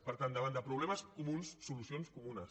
per tant davant de problemes comuns solucions comunes